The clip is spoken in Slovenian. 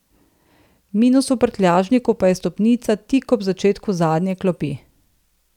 Minus v prtljažniku pa je stopnica tik ob začetku zadnje klopi.